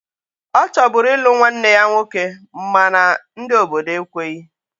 Ọ chọburu ịlụ nwanne ya nwoke mana ndị obodo ekweghi